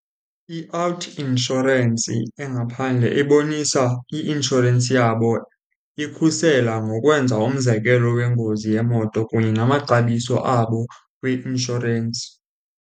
I-out insurance engaphandle ibonisa i-inshorensi yabo ikhusela ngokwenza umzekelo wengozi yemoto kunye namaxabiso abo kwi-inshorensi.